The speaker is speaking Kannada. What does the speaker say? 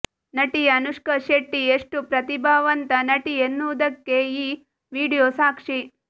ನಟಿ ಅನುಷ್ಕಾ ಶೆಟ್ಟಿ ಎಷ್ಟು ಪ್ರತಿಭಾವಂತ ನಟಿ ಎನ್ನುವುದಕ್ಕೆ ಈ ವಿಡಿಯೋ ಸಾಕ್ಷಿ